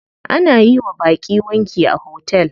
Ana yiwa baƙi wanki a hotel.